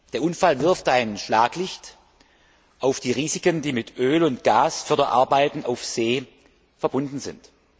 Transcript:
Der Unfall wirft ein Schlaglicht auf die Risiken, die mit Öl und Gasförderarbeiten auf See verbunden sind.